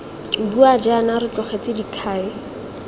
bua jaana re tlogetse dikhai